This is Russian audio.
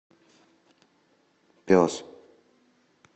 пес